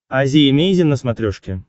азия эмейзин на смотрешке